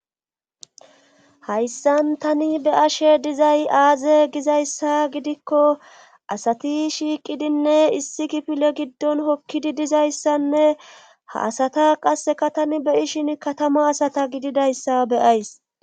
hayssan tani be ashe dizay aaze gizayssa gidikko asati shiiqidinne issi kipile giddon hokkidi dizayssanne ha asata qasseka tani beyishin katama asata gididayssa beyays